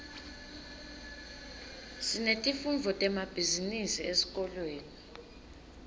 sinetifundvo temabhizinisi esikolweni